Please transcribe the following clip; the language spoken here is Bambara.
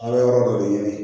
An bɛ yɔrɔ dɔ de ɲini